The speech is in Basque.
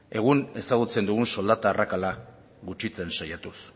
egun ezagutzen dugun soldata arrakala gutxitzen saiatuz